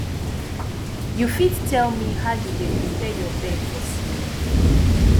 you fit tell me how you dey prepare your bed for sleep